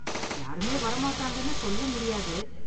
யாருமே வர மாட்டாங்கனு சொல்ல முடியாது.